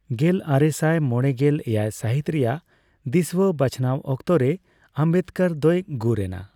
ᱜᱮᱞᱟᱨᱮᱥᱟᱭ ᱢᱚᱲᱮᱜᱮᱞ ᱮᱭᱟᱭ ᱥᱟᱦᱤᱛ ᱨᱮᱭᱟᱜ ᱫᱤᱥᱣᱟᱹ ᱵᱟᱪᱷᱱᱟᱣ ᱚᱠᱛᱚ ᱨᱮ ᱚᱢᱵᱮᱫᱠᱚᱨ ᱫᱚᱭ ᱜᱩᱨ ᱮᱱᱟ᱾